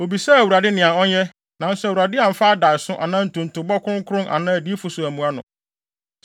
Obisaa Awurade nea ɔnyɛ nanso Awurade amfa adaeso anaa ntontobɔ kronkron anaa adiyifo so ammua no.